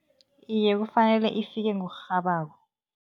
Iye, kufanele ifike ngokurhabako.